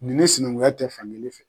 Ni nin sinankunya tɛ fan kelen fɛ.